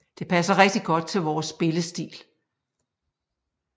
Det passer rigtig godt til vores spillestil